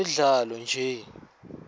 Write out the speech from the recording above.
temidlalo nje